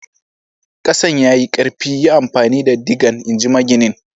Kasan ya yi karfi, yi amfani da digan, in ji maginin.